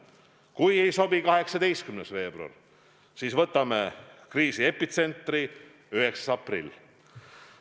Kui ei sobi 18. veebruar, siis võtame kriisi epitsentri, 9. aprilli.